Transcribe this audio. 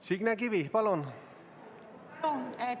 Signe Kivi, palun!